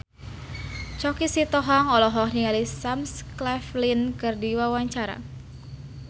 Choky Sitohang olohok ningali Sam Claflin keur diwawancara